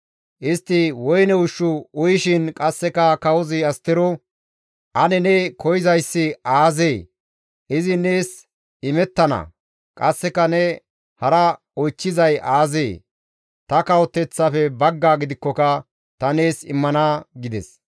Istti woyne ushshu uyishin qasseka kawozi Astero, «Ane ne koyzayssi aazee? Izi nees imettana; qasseka ne hara oychchizay aazee? Ta kawoteththaafe baggaa gidikkoka ta nees immana» gides.